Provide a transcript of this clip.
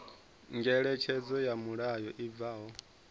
ngeletshedzo ya mulayo i bvaho